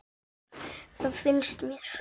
Það finnst mér.